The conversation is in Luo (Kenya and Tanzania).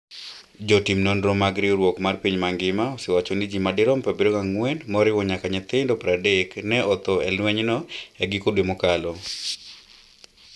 Jotim nonro mag riwruok mar piny mangima osewacho ni ji madirom 74, moriwo nyaka nyithindo 30, ne otho e lwenyno e giko dwe mokalo.